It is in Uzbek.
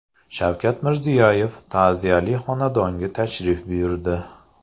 Shavkat Mirziyoyev ta’ziyali xonadonga tashrif buyurdi .